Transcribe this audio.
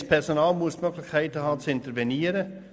Das Personal muss die Möglichkeit haben zu intervenieren.